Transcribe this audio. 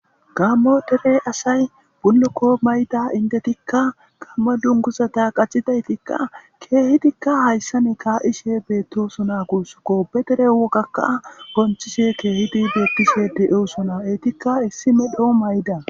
gammo dere asay bullokko mayda indetikka gamme dunguzata qacidaytikka keehidikka hayssan kaa7ishe beettosona gussukko bedere wogakka konchise keehidi beettise de7eosona etikka issi medho mayda